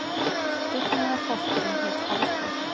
Dugnaðarforkurinn hét Halldór.